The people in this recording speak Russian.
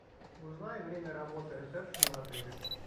узнай время работы ресепшена в отеле